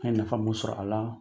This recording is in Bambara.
An ye nafa mun sɔrɔ a la